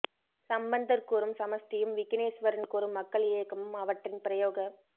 சம்பந்தர் கூறும் சமஸ்டியும் விக்கினேஸ்வரன் கூறும் மக்கள் இயக்கமும் அவற்றின் பிரயோக